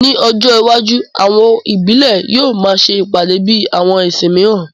Ní ọjọ́ iwájú, awo ìbílẹ̀ yóò máa ṣe ìpàdé bíi àwọn ẹ̀sìn míìràn